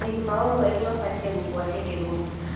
Marĩhi ma o mweri mabatiĩ gũbuatĩrĩrwo.